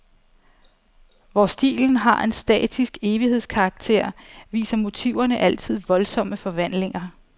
Hvor stilen har en statisk evighedskarakter, viser motiverne altid voldsomme forvandlinger.